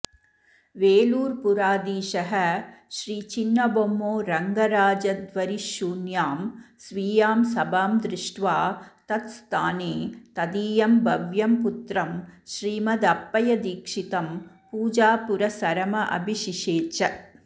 वेलूरपुराधीशः श्रीचिन्नबोम्मो रङगराजाध्वरिशून्यां स्वीयां सभां दृष्ट्वा तत्स्थाने तदीयं भव्यं पुत्रं श्रीमदप्पयदीक्षितं पूजापुरस्सरमभिषिषेच